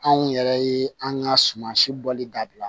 Anw yɛrɛ ye an ka sumansi bɔli dabila